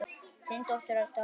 Þín dóttir, Dagmar.